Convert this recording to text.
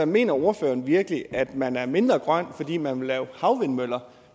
mener ordføreren virkelig at man er mindre grøn fordi man vil lave havvindmøller